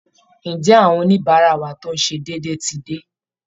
Ǹjẹ́ àwọn oníbàárà wa tó ń ṣe déédéé ti dé?